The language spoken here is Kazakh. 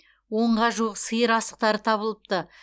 онға жуық сиыр асықтары табылыпты